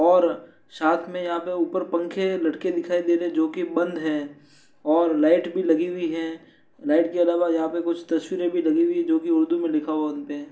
और साथ में यहाँ पर ऊपर पंखे लटके दिखाई दे रहे हैं जो के बंद है और लाइट भी लगी हुई है। लाइट के अलावा यहाँ पर कुछ तस्वीरें भी लगी हुई हैं जो कि उर्दू में लिखा हुआ है उन पे।